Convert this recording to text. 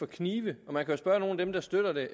kniv man kan spørge nogle af dem der støtter det